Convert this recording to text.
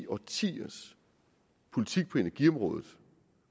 årtiers politik på energiområdet